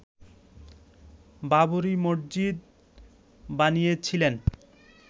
বাবরি মসজিদ বানিয়েছিলেন